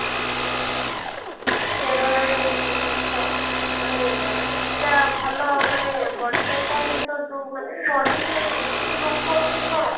ଯୋଉ steroid ଏସବୁ ଜିନିଷ ମାନେ ଏଇଟା ଭଲ ମାନେ body ପାଇଁ କହିଲେ ତ କିନ୍ତୁ body ସିନା ନେବ ନି କିନ୍ତୁ ଲୋକ ଅଛନ୍ତି କଣ